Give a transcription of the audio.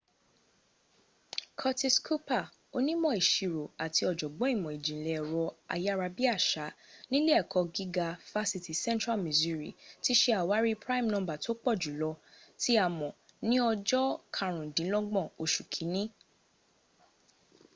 curtis cooper onímọ̀ ìsirò àti ọ̀jọ̀gbọ́n ìmọ̀ ìjìnlẹ̀ ẹ̀rọ ayárabíàṣà nílé ẹ̀kọ́ gíga fásitì central missouri ti se àwárí prime number tó pọ̀ jùlọ tí a mọ̀ ní ọjọ́ karùndínlọ́gbọ̀n osù kínni